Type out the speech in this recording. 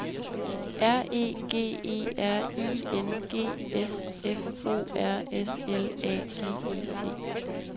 R E G E R I N G S F O R S L A G E T